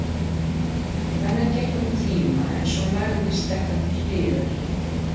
Þannig gekk um tíma en svo lagðist þetta til hliðar.